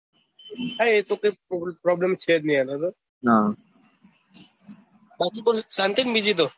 હા એ તો ત્યાં problem છે જ નહિ યાર હા બખી બોલ શાંતિ ને બીજું તો